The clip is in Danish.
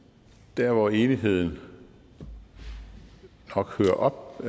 der hvor enigheden nok hører op